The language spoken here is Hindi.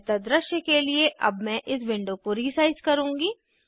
बेहतर दृश्य के लिए अब मैं इस विंडो को रीसाइज़ करुँगी